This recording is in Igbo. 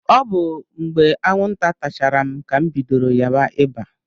Ọ bụ mgbe anwụnta tachara m ka m bidoro ya ba ịba.